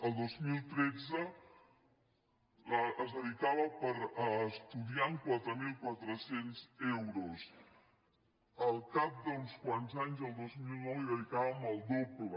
el dos mil tres es dedicaven per estudiant quatre mil quatre cents euros al cap d’uns quants anys el dos mil nou hi dedicàvem el doble